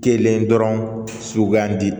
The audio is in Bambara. Kelen dɔrɔn sugandi